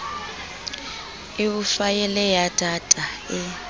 eo faele ya data e